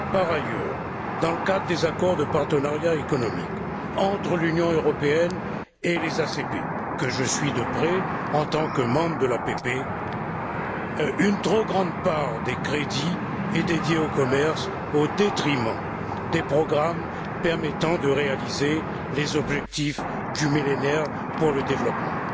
Par ailleurs, dans le cadre des accords de partenariat économique entre l'Union européenne et les ACP, que je suis de près en tant que membre de l'APP, une trop grande part des crédits est dédiée au commerce au détriment des programmes permettant de réaliser les objectifs du millénaire pour le développement.